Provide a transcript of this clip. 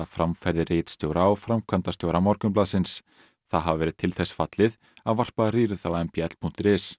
framferði ritstjóra og framkvæmdastjóra Morgunblaðsins það hafi verið til þess fallið að varpa rýrð á m b l punktur is